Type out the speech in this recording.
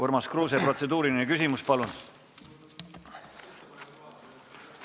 Urmas Kruuse, protseduuriline küsimus, palun!